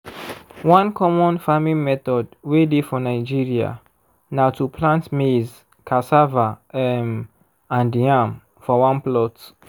one common farming method way dey for nigeria na to plant maize cassava um and yam for one plot